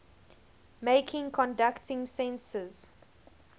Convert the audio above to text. make conducting censuses